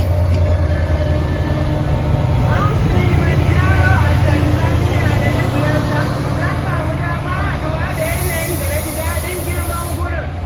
Mount Kilimanjaro a Tanzania da na ziyarta, na samu damar haɗuwa da yanayin da na ji daɗin girman wurin.